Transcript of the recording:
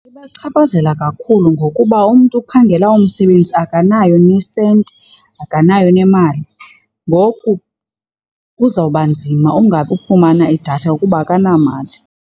Ibachaphazela kakhulu ngokuba umntu ukhangela umsebenzi akanayo nesenti akanayo nemali. Ngoku kuzawuba nzima ufumana idatha ukuba akanamali.